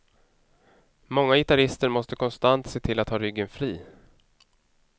Många gitarrister måste konstant se till att ha ryggen fri.